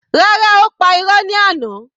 Rárá, ó pa irọ́ ní àná.